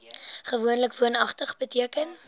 gewoonlik woonagtig beteken